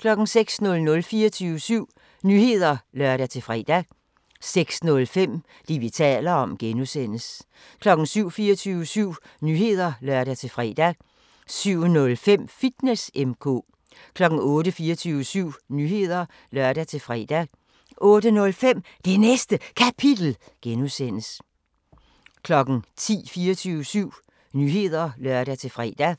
06:00: 24syv Nyheder (lør-fre) 06:05: Det, vi taler om (G) 07:00: 24syv Nyheder (lør-fre) 07:05: Fitness M/K 08:00: 24syv Nyheder (lør-fre) 08:05: Det Næste Kapitel (G) 09:00: 24syv Nyheder (lør-fre) 09:05: Det Næste Kapitel (G) 10:00: 24syv Nyheder (lør-fre)